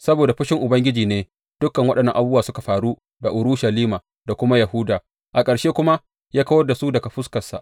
Saboda fushin Ubangiji ne dukan waɗannan abubuwa suka faru da Urushalima, da kuma Yahuda, a ƙarshe kuma ya kawar da su daga fuskarsa.